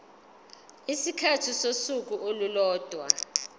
isikhathi sosuku olulodwa